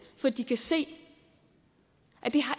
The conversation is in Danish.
for de kan se at det